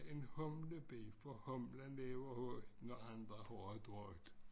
En humlebi for hulmen lever højt når andre har det drøjt